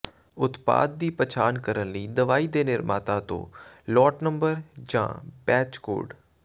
ਉਤਪਾਦ ਦੀ ਪਛਾਣ ਕਰਨ ਲਈ ਦਵਾਈ ਦੇ ਨਿਰਮਾਤਾ ਤੋਂ ਲੌਟ ਨੰਬਰ ਜਾਂ ਬੈਚ ਕੋਡ